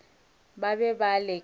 ba be ba le ka